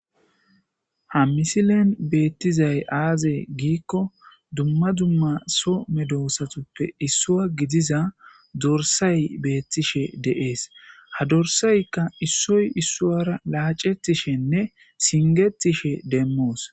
ha misilen beettizay aaze giikko dumma dumma so medosatuppe issua gidiza dorsay beettishe deees ha dorsaykka issoy issuara laacetishenne singetishe demmoos